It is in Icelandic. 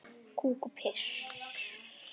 Kúk og piss.